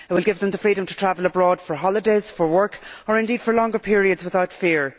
It will give them the freedom to travel abroad for holidays or work, or indeed for longer periods without fear.